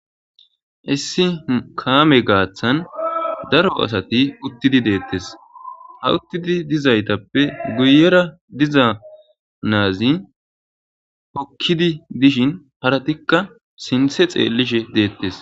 issi kaame gaaththan daro asati uttidi deettes ha uttidi dizaytappe guyera diza naazi hokkidi dishin paratikka sinthe xeellishe deettes